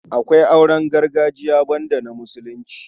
Akwai auren gargajiya banda na Musulunci.